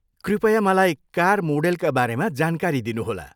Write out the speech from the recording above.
कृपया मलाई कार मोडेलका बारेमा जानकारी दिनुहोला।